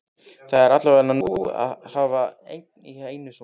Það er alveg nóg að hafa einn í einu svona.